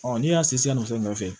Ɔ n'i y'a sen sɛ'a fɛ